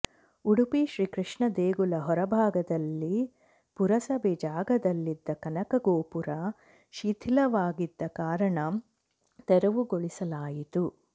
ಉಡುಪಿ ಶ್ರೀ ಕೃಷ್ಣ ದೇಗುಲ ಹೊರಭಾಗದಲ್ಲಿ ಪುರಸಭೆ ಜಾಗದಲ್ಲಿದ್ದ ಕನಕ ಗೋಪುರ ಶಿಥಿಲವಾಗಿದ್ದ ಕಾರಣ ತೆರವುಗೊಳಿಸಲಾಯಿತು